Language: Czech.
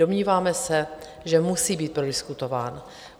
Domníváme se, že musí být prodiskutován.